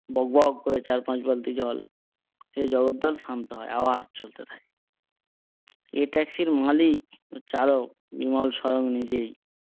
বক বক করে চার পাঁচ বালতি জল খেয়ে জগদ্দল শান্ত হয় আবার চলতে থাকে। এ ট্যাক্সির মালিক চালক বিমল স্বয়ং নিজেই।